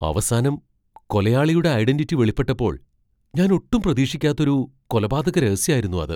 അവസാനം കൊലയാളിയുടെ ഐഡന്റിറ്റി വെളിപ്പെട്ടപ്പോൾ ഞാൻ ഒട്ടും പ്രതീക്ഷിക്കാത്തൊരു കൊലപാതക രഹസ്യായിരുന്നു അത്.